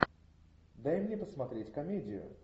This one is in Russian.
дай мне посмотреть комедию